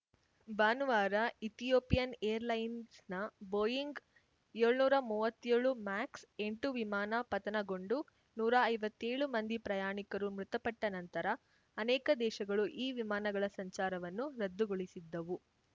ಭಾನುವಾರ Ethiopian air ಲೈನ್ಸ್‌ನ Boeing ಯೋಳ್ನೂರ ಮೂವತ್ತ್ಯೋಳು ಮ್ಯಾಕ್ಸ್ ಎಂಟು ವಿಮಾನ ಪತನಗೊಂಡು ನೂರಾ ಐವತ್ತೇಳು ಮಂದಿ ಪ್ರಯಾಣಿಕರು ಮೃತಪಟ್ಟ ನಂತರ ಅನೇಕ ದೇಶಗಳು ಈ ವಿಮಾನಗಳ ಸಂಚಾರವನ್ನು ರದ್ದುಗೊಳಿಸಿದ್ದವು